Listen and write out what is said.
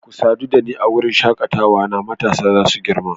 Ku sadu da ni a wurin shakatawa na matasa za su girma